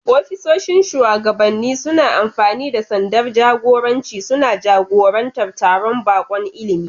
Ofisoshin shugabanni suna amfani da sandar jagoranci, suna jagorantar taron baƙon ilimi.